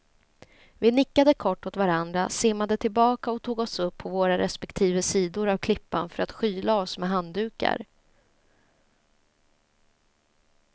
Vi nickade kort åt varandra, simmade tillbaka och tog oss upp på våra respektive sidor av klippan för att skyla oss med handdukar.